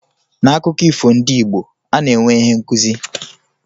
N'akụkọ ifo ndị Igbo, ana-enwe ihe nkụzi.